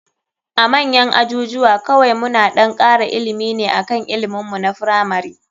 A manyan ajujuwa kawai muna ɗan kara ilimi ne akan ilimin mu na firamari.